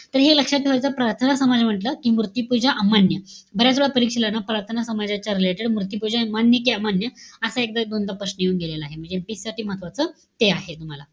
तर हे लक्षात ठेवायचं, प्रार्थना समाज म्हंटल कि मूर्तिपूजा अमान्य. बऱ्याचवेळा परीक्षेला ना प्रार्थना समाजाच्या related मूर्तिपूजा मान्य का अमान्य असा एकदा-दोनदा प्रश्न येऊन गेलेला आहे. म्हणजे साठी महत्वाचं ते आहे तुम्हाला.